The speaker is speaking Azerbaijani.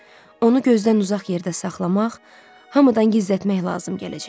Onu gözdən uzaq yerdə saxlamaq, hamıdan gizlətmək lazım gələcək.